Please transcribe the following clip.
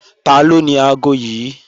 Taló ni aago yí?